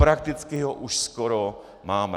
Prakticky ho už skoro máme.